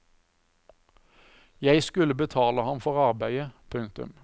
Jeg skulle betale ham for arbeidet. punktum